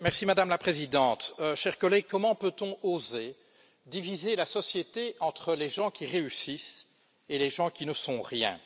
Madame la Présidente, chers collègues, comment peut on oser diviser la société entre les gens qui réussissent et les gens qui ne sont rien?